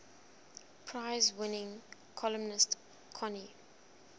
prize winning columnist connie